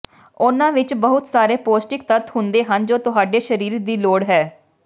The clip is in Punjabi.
ਉਨ੍ਹਾਂ ਵਿਚ ਬਹੁਤ ਸਾਰੇ ਪੌਸ਼ਟਿਕ ਤੱਤ ਹੁੰਦੇ ਹਨ ਜੋ ਤੁਹਾਡੇ ਸਰੀਰ ਦੀ ਲੋੜ ਹੈ